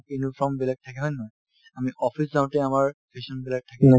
uniform বেলেগ থাকে হয় নে নহয় আমি office যাওঁতে আমাৰ fashion বিলাক